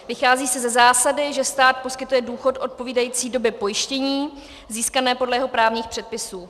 Vychází se ze zásady, že stát poskytuje důchod odpovídající době pojištění získané podle jeho právních předpisů.